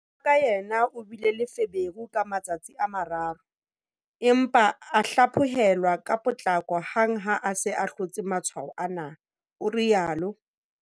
"Mora wa ka yena o bile le feberu ka matsatsi a mararo, empa a hlaphohelwa ka potlako hang ha a se a hlotse matshwao ana," o rialo.